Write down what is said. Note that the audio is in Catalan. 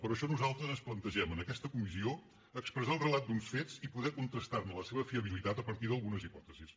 per això nosaltres ens plantegem en aquesta comissió expressar el relat d’uns fets i poder contrastar ne la seva fiabilitat a partir d’algunes hipòtesis